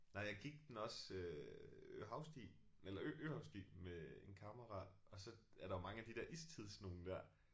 Nej jeg gik den også øh havsti eller øhavsti med en kammerat og så er der jo mange af de der istids nogen der